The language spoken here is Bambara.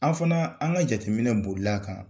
An fana an ka jateminɛ bolila a kan.